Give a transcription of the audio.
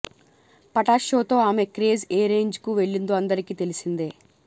పటాస్ షోతో ఆమె క్రేజ్ ఏ రేంజ్ కు వెళ్లిందో అందరికి తెలిసిందే